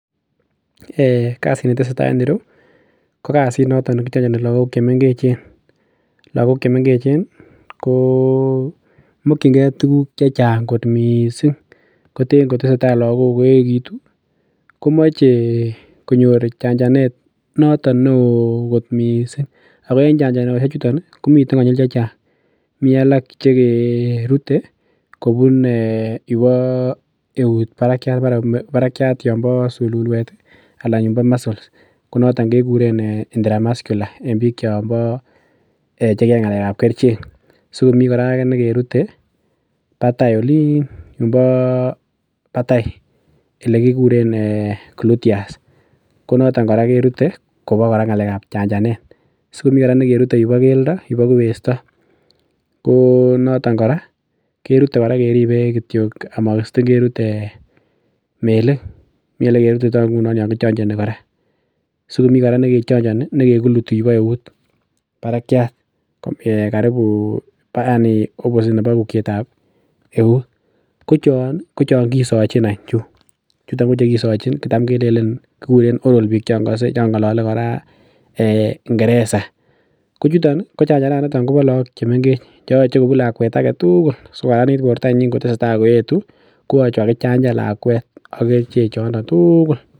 [um]kasini tesetai en ireu ko kasit noton nekichonjoni lagok chemengechen lagok chemengechen ih ko mokyin gee tuguk chechang missing kot missing koten kotesetai lagok koeechekitu komoche konyor chanjanet noton neo kot missing ako en chanjanosiek chuton ih komiten konyil chechang.,mii alak chekerute kobun um yubo eut barakiat yumbo sululwet anan yumbo muscles anan kekuren intra muscular en biik chombo cheyoe ng'alek ab kerichek so mii kora nekerute batai olin yumbo batai elekikuren gluteus ko noton kora kerute kobo kora ng'alek ab chanjanet sikomii kora nekerute yumbo keldo yubo kubesto ko noton kora kerute kora keribe kityo ama sitin kerut melik mi elekirutitoo ngunon yon kichonjoni kora sikomii kora nekichonjoni nekikuluti yubo eut barakiat karibu yani opposite nebo ukiet ab eut. Ko chon ko chon kisochin any chu chuton kochekosochin chutam kelenen kikuren oral biik chon kose chon ng'olole kora [um]ngereza ko chuton ih ko chanjananiton kobo look chemengech cheyoche kobun lakwet aketugul sikokaranit bortonyin ngotesetai koetu koyoche kokakichanjan lakwet ak kerichek chondo tugul.